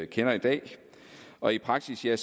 kender i dag og i praksis er